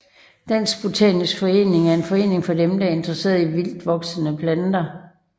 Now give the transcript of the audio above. Dansk Botanisk Forening er en forening for dem der er interesserede i vildtvoksende planter